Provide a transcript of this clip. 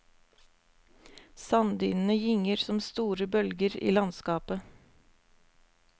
Sanddynene gynger som store bølger i landskapet.